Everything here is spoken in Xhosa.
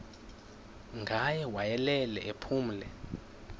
ngaye wayelele ephumle